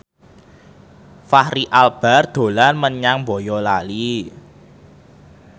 Fachri Albar dolan menyang Boyolali